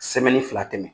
fila tɛmɛ